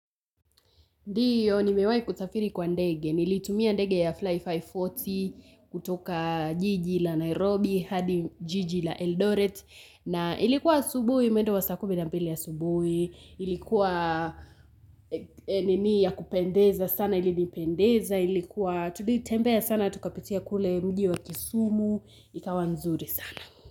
Ndiyo, ni mewahi kusafiri kwa ndege. Nilitumia ndege ya Fly540 kutoka jiji la Nairobi, hadi jijii la Eldoret. Na ilikuwa subuhi, mwendo wa saa kumi na mbili ya subuhi. Ilikuwa nini ya kupendeza sana, ili ni pendeza. Ilikuwa, tulitembea sana, tukapitia kule mji wa kisumu. Ikawa nzuri sana.